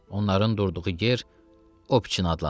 Onların durduğu yer Opçen adlanırdı.